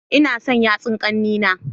Ina son yatsu kannena